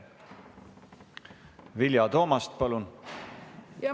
Vilja Toomast, palun!